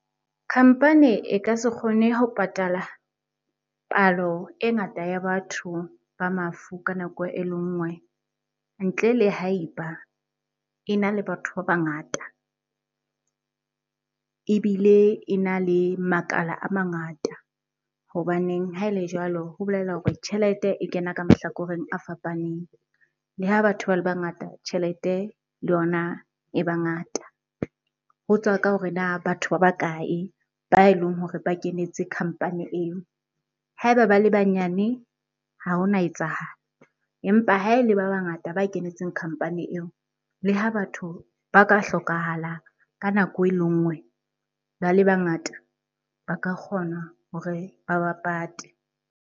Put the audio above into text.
Khampani e ka se kgone ho patala palo e ngata ya batho ba mafu ka nako e le nngwe ntle le ha e ba e na le batho ba bangata ebile ena le makala a mangata. Hobaneng ha e le jwalo, ho bolela hore tjhelete e kena ka mahlakoreng a fapaneng, le ha batho ba le bangata tjhelete le yona e ba ngata. Ho tswa ka hore na batho ba ba kae? ba e leng hore ba kenetse khampani eo. Ha eba ba le banyane ha hona etsahala empa ha ele ba bangata ba kenetseng khampani eo, le ha batho ba ka hlokahala ka nako e le nngwe ba le bangata ba ka kgona hore ba ba pate.